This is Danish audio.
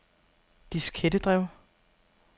diskettedrev